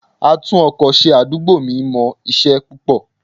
A tún-ọkọ ṣe àdúgbò mi mọ isẹ púpò.